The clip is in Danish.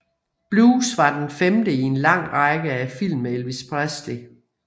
Blues var den femte i en lang række af film med Elvis Presley